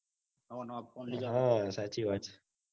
હ સાચી વાત છે.